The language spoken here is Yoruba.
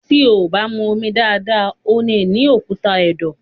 tí o bá mú omi dáadáa, o nì ní òkúta ẹ̀dọ̀.